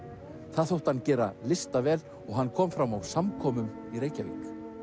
það þótti hann gera listavel og hann kom fram á samkomum í Reykjavík